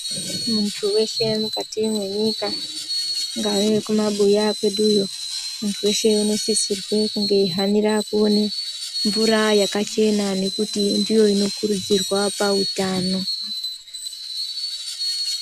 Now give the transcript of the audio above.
Muntu weshe mukati mwenyika kungave kumabuya kweduyo. Muntu weshe unosisirwe kunge echihanira kuone mvura yakachena ngekuti ndiyo inokuridzirwa pautano.